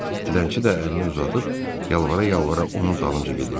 Dilənçi də əlini uzadıb yalvara-yalvara onun dalınca gedirdi.